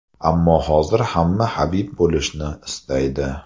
Ammo hozir hamma Habib bo‘lishni istaydi.